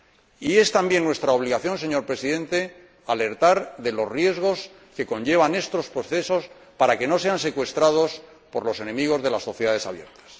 Y es también nuestra obligación, señor Presidente, alertar de los riesgos que conllevan estos procesos, para que no sean secuestrados por los enemigos de las sociedades abiertas.